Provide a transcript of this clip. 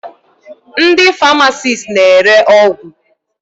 Ndị famasisti na-ere ọgwụ.